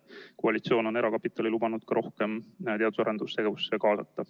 Koalitsioon on erakapitali lubanud rohkem teadus‑ ja arendustegevusse kaasata.